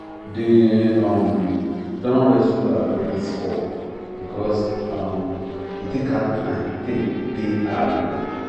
they um don rescue her credit score because um he take her time take pay her loan